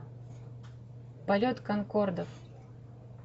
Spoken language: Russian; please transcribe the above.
полет конкордов